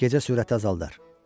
Gecə sürəti azaldar.